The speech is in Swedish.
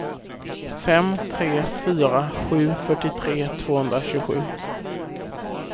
fem tre fyra sju fyrtiotre tvåhundratjugosju